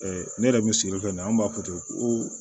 ne yɛrɛ bi sigili fɛn na an b'a fɔ ten ko